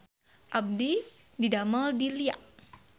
Abdi didamel di Lia